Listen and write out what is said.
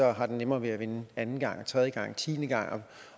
har den nemmere ved at vinde anden gang og tredje gang og tiende gang